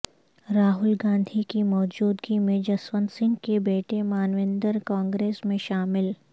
راہل گاندھی کی موجودگی میں جسونت سنگھ کے بیٹے مانویندر کانگریس میں شامل